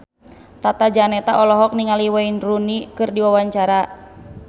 Tata Janeta olohok ningali Wayne Rooney keur diwawancara